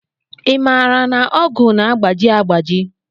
I maara na ọgụ na-agbaji agbaji?